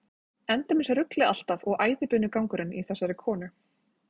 Endemis ruglið alltaf og æðibunugangurinn í þessari konu.